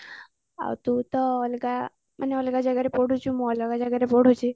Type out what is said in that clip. ଆଉ ତୁ ତ ଅଲଗା ମାନେ ଅଲଗା ଜାଗାରେ ପଢୁଛୁ ମୁ ଅଲଗା ଜାଗାରେ ପଢୁଛି